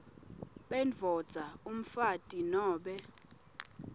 bendvodza umfati nobe